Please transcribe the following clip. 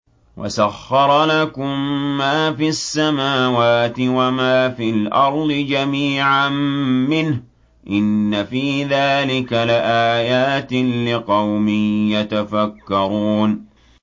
وَسَخَّرَ لَكُم مَّا فِي السَّمَاوَاتِ وَمَا فِي الْأَرْضِ جَمِيعًا مِّنْهُ ۚ إِنَّ فِي ذَٰلِكَ لَآيَاتٍ لِّقَوْمٍ يَتَفَكَّرُونَ